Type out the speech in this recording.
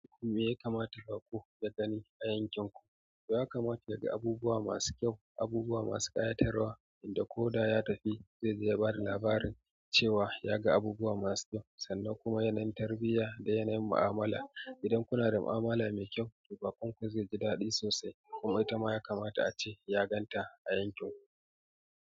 Me ya kamata ku ka gani a yankin ku? Yakamata dai abubuwa masu kyau, abubuwa masu ƙayatarwa. Inda ko da ya tafi zai je ya bada labarin cewa ya ga abubuwa masu kyau sannan kuma yanayin tarbiyya da yanayin mu'amala. Idan kuna da mu'amala mai kyau, baƙon ku zai ji daɗi sosai kuma ita ma ya kamata a ce ya ganta a yankin ku.